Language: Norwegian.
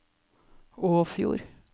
Åfjord